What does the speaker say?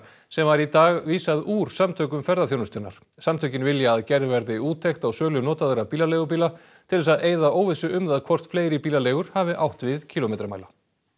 sem var í dag vísað úr Samtökum ferðaþjónustunnar samtökin vilja að gerð verði úttekt á sölu notaðra bílaleigubíla til þess að eyða óvissu um það hvort fleiri bílaleigur hafi átt við kílómetramæla